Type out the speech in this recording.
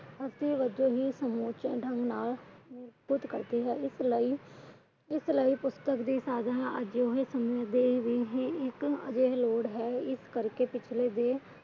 ਅੱਗੇ ਵਧਣ ਲਈ ਸਮੁੱਚੇ ਢੰਗ ਨਾਲ ਪ੍ਰਸਤੁਤ ਕਰਦੇ ਹੈ।